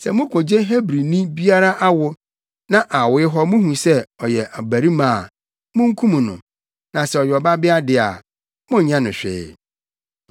“Sɛ mukogye Hebrini biara awo, na awoe hɔ muhu sɛ ɔyɛ ɔbabarima a, munkum no, na sɛ ɔyɛ ɔbabea de a, monnyɛ no hwee.”